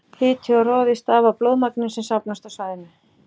Hiti og roði stafa af blóðmagninu sem safnast á svæðið.